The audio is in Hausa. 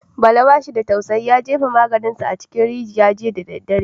Bala ba shi da tausayi, ya jefa magensa a cikin rijiya jiya da daddare.